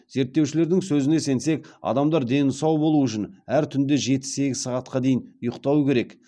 зерттеушілердің сөзіне сенсек адамдар дені сау болуы үшін әр түнде жеті сегіз сағатқа дейін ұйықтауы керек